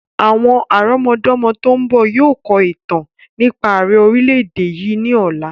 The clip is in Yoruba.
Àwọn àrọmọdọ́mọ tòun bọ̀ yìí ó kọ̀ ìtàn nípa àrẹ orìlẹ̀-èdè yìí ni ọ̀la.